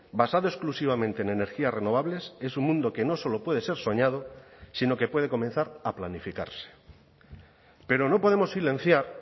basado exclusivamente en energías renovables es un mundo que no solo puede ser soñado sino que puede comenzar a planificarse pero no podemos silenciar